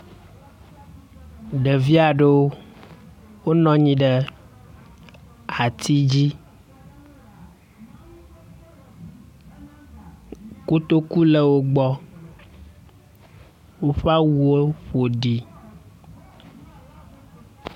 Ɖevi aɖewo wonɔ anyi ɖe ati dzi kotoku le wogbɔ, woƒe awuwo ƒo ɖi